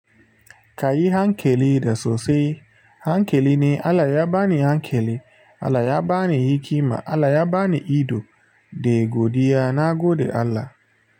Ka yi hankali da su sosai. Hankali ne Allah ya bani hankali, Allah ya bani hikima, Allah ya bani ido. Da godiya na gode Allah.